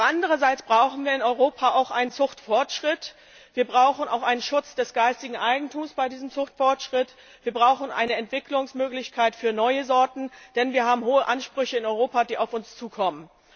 Aber andererseits brauchen wir in Europa auch einen Zuchtfortschritt, wir brauchen einen Schutz des geistigen Eigentums bei diesem Zuchtfortschritt, wir brauchen eine Entwicklungsmöglichkeit für neue Sorten, denn wir haben hohe Ansprüche in Europa, die auf uns zukommen.